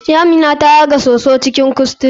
Amina ta yaga soso cikin kuskure.